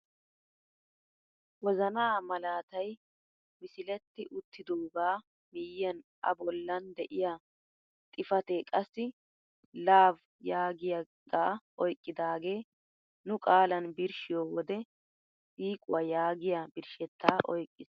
Wozanaa malaatay misiletti uttidoogaa miyiyaan a bollan de'iyaa xifatee qassi "LOVE" yaagiyaagaa oyqqidagee nu qaalan birshiyoo wode siiquwaa yaagiyaa birshshettaa oyqqiis.